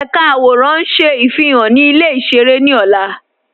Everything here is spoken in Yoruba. Ẹ̀ká àwọ̀rán ń ṣé ifihan ni ilẹ̀ ìṣẹ̀rẹ̀ ni ọ̀là.